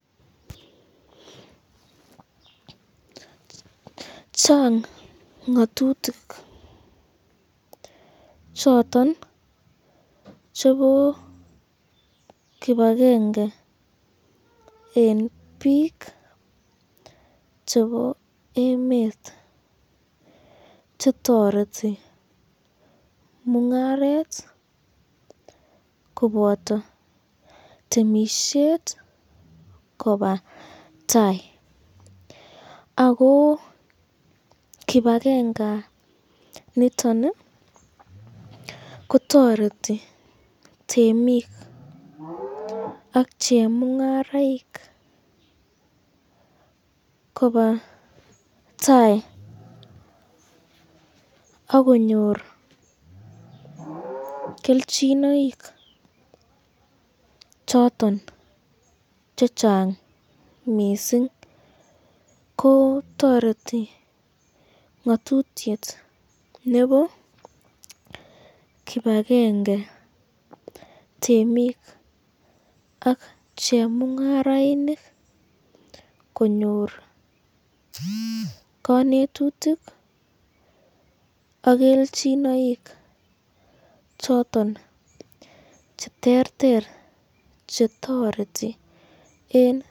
Chang ngatutik choton chebo kipakenge eng bik chebo emet chetoreti mungaret koboto temisyet koba tai, ako kipakengsniton kotoreti temik ak chemungarainik koba tai akonyor kelchinoik choton chechang mising, ko toreti ngatutyet nebo kibakenge temik ak chemungarainik konyor kanetutuk ak kelchinoik choton cheterter chetoreti.